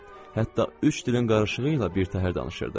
Hətta üç dilin qarışığı ilə bir təhər danışırdı.